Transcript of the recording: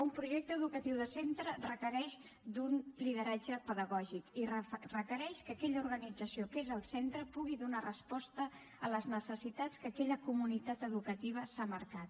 un projecte educatiu de centre requereix un lideratge pedagògic i requereix que aquella organització que és el centre pugui donar resposta a les necessitats que aquella comunitat educativa s’ha marcat